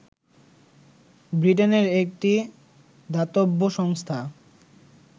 ব্রিটেনের একটি দাতব্য সংস্থা